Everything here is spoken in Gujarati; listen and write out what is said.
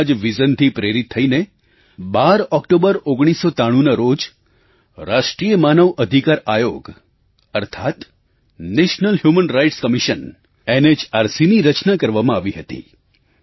તેમના જ વિઝનvisionથી પ્રેરિત થઈને 12 ઑક્ટોબર 1993ના રોજ રાષ્ટ્રીય માનવ અધિકાર આયોગ અર્થાત્ નેશનલ હ્યુમન રાઇટ્સ CommissionNHRCની રચના કરવામાં આવી હતી